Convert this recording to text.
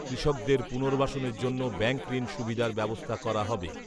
কৃষকদের পুনর্বাসনের জন্য ব্যাঙ্কঋণ সুবিধার ব্যবস্থা করা হবে